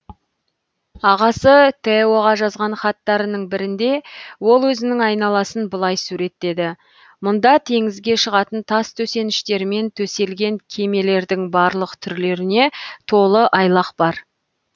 ағасы теоға жазған хаттарының бірінде ол өзінің айналасын былай суреттеді мұнда теңізге шығатын тас төсеніштермен төселген кемелердің барлық түрлеріне толы айлақ бар